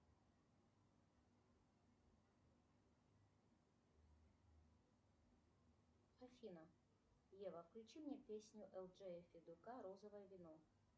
афина ева включи мне песню элджея федука розовое вино